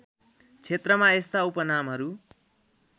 क्षेत्रमा यस्ता उपनामहरू